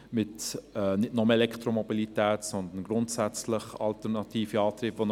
Dabei ging es nicht nur um Elektromobilität, sondern grundsätzlich um alternative Antriebe.